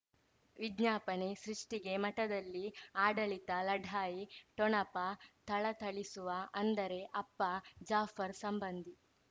ವಿಜ್ಞಾಪನೆ ಸೃಷ್ಟಿಗೆ ಮಠದಲ್ಲಿ ಆಡಳಿತ ಲಢಾಯಿ ಠೊಣಪ ಥಳಥಳಿಸುವ ಅಂದರೆ ಅಪ್ಪ ಜಾಫರ್ ಸಂಬಂಧಿ